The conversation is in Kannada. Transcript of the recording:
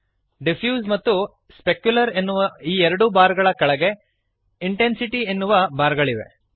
ಡಿಫ್ಯೂಸ್ ಮತ್ತು ಸ್ಪೆಕ್ಯುಲರ್ ಎನ್ನುವ ಈ ಎರಡೂ ಬಾರ್ ಗಳ ಕೆಳಗೆ ಇಂಟೆನ್ಸಿಟಿ ಎನ್ನುವ ಬಾರ್ ಗಳಿವೆ